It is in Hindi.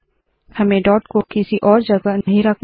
हमें डॉट को किसी और जगह नहीं रखना